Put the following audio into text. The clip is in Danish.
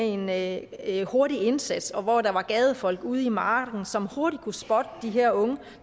ind med en hurtig indsats og hvor der var folk ude i marken som hurtigt kunne spotte de her unge